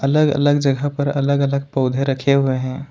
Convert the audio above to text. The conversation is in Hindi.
अलग अलग जगह पर अलग अलग पौधे रखे हुए हैं।